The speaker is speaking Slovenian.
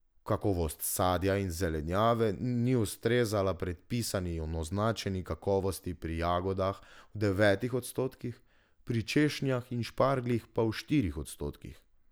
Kakovost sadja in zelenjave ni ustrezala predpisani in označeni kakovosti pri jagodah v devetih odstotkih, pri češnjah in špargljih pa v štirih odstotkih.